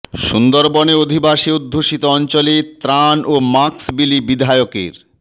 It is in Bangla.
সুন্দরবনে আদিবাসী অধ্যুষিত অঞ্চলে ত্রাণ ও মাক্স বিলি বিধায়কের